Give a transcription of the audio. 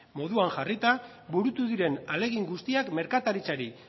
moduan jarrita burutu diren ahalegin guztiak merkataritzari